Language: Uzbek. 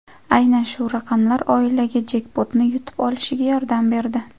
Aynan shu raqamlar oilaga jekpotni yutib olishiga yordam berdi.